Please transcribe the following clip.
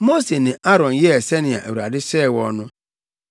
Mose ne Aaron yɛɛ sɛnea Awurade hyɛɛ wɔn no.